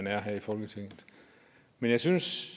er her i folketinget men jeg synes